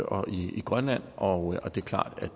og i grønland og det er klart